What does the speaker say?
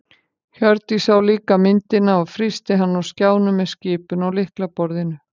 Hjördís sá líka myndina og frysti hana á skjánum með skipun á lyklaborðinu.